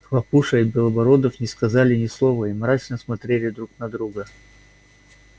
хлопуша и белобородов не сказали ни слова и мрачно смотрели друг на друга